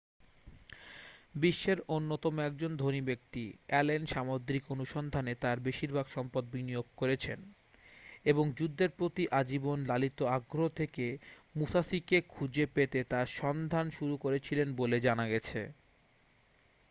বিশ্বের অন্যতম একজন ধনী ব্যক্তি অ্যালেন সামুদ্রিক অনুসন্ধানে তাঁর বেশিরভাগ সম্পদ বিনিয়োগ করেছেন এবং যুদ্ধের প্রতি আজীবন লালিত আগ্রহ থেকে মুসাশিকে খুঁজে পেতে তার সন্ধান শুরু করেছিলেন বলে জানা গেছে